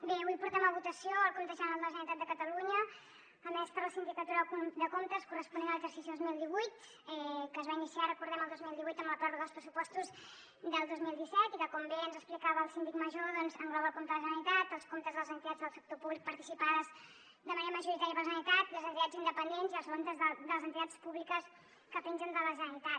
bé avui portem a votació el compte general de la generalitat de catalunya emès per la sindicatura de comptes corresponent a l’exercici dos mil divuit que es va iniciar recordem ho el dos mil divuit amb la pròrroga dels pressupostos del dos mil disset i que com bé ens explicava el síndic major engloba el compte la generalitat els comptes de les entitats del sector públic participades de manera majoritària per la generalitat les entitats independents i els comptes de les entitats públiques que pengen de la generalitat